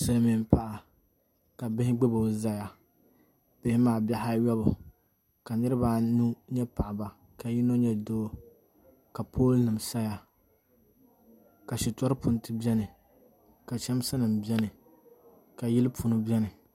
Silmiin paɣa ka bihi gbubo ʒɛyw bihi maa bihi ayobu ka niraba anu nyɛ paɣaba ka yino nyɛ doo ka pool nim saya ka shitɔri punti biɛni ka chɛmsi nim biɛni ka yili pundi biɛni